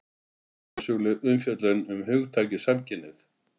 Hugmyndasöguleg umfjöllun um hugtakið samkynhneigð